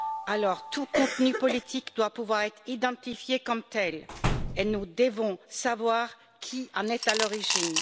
Alors tout contenu politique doit pouvoir être identifié comme tel et nous devons savoir qui en est à l'origine.